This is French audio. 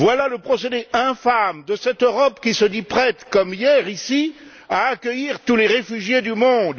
Voilà le procédé infâme de cette Europe qui se dit prête, comme hier ici, à accueillir tous les réfugiés du monde.